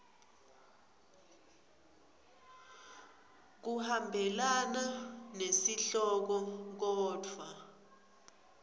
kuhambelana nesihloko kodvwa